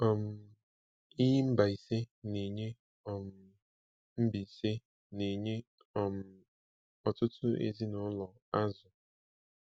um Iyi Mbaise na-enye um Mbaise na-enye um ọtụtụ ezinụlọ azụ̀.